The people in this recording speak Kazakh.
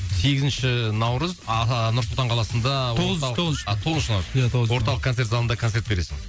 сегізінші наурыз ааа нұр сұлтан қаласында тоғыз тоғызыншы тоғызыншы наурыз ия тоғыз орталық концерт залында концерт бересің